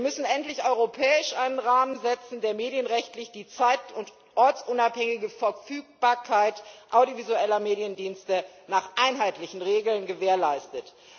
Wir müssen endlich europäisch einen Rahmen setzen, der medienrechtlich die zeit und ortsunabhängige Verfügbarkeit audiovisueller Mediendienste nach einheitlichen Regeln gewährleistet.